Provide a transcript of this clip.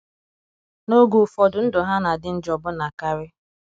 N’oge ụfọdụ ndụ ha na - adị njọ ọbụna karị.